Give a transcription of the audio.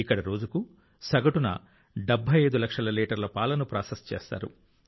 ఇక్కడ రోజుకు సగటున 75 లక్షల లీటర్ల పాలను ప్రాసెస్ చేస్తారు